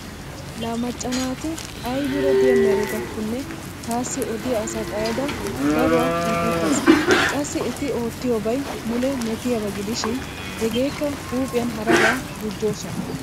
Laa macca naati aybiira diya meretakkonne taassi odiya asa xayada daruwa un"ettaas. Qassi eti oottiyobay mule metiyaaba gidishin hegeekka huuphiyan haraba gujjoosona.